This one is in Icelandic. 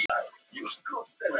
Fannafold